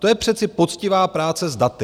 To je přece poctivá práce s daty.